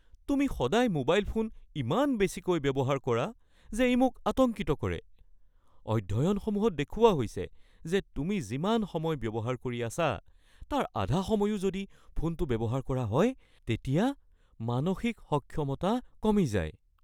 তুমি সদায় mobile phone ইমান বেছিকৈ ব্যৱহাৰ কৰা যে ই মোক আতংকিত কৰে। অধ্যয়নসমূহত দেখুওৱা হৈছে যে তুমি যিমান সময় ব্যৱহাৰ কৰি আছা তাৰ আধা সময়ো যদি ফোনটো ব্যৱহাৰ কৰা হয় তেতিয়া মানসিক সক্ষমতা কমি যায়। (দেউতা)